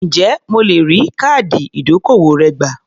Ǹjẹ́ mo lè rí káàdì ìdókòwò rẹ gbà?